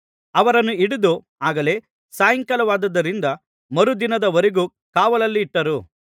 ಅವರನ್ನು ಹಿಡಿದು ಆಗಲೇ ಸಾಯಂಕಾಲವಾದ್ದದರಿಂದ ಮರುದಿನದವರೆಗೆ ಕಾವಲಲ್ಲಿಟ್ಟರು